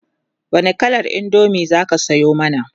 wani kalar indomie zaki Sayo mana?